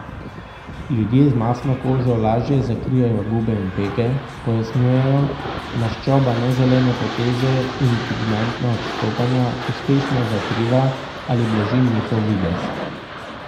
Ljudje z mastno kožo lažje zakrijejo gube in pege, pojasnjujejo, maščoba neželene poteze in pigmentna odstopanja uspešno zakriva ali blaži njihov videz.